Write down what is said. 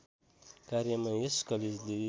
कार्यमा यस कलेजले